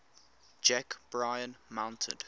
jack bryan mounted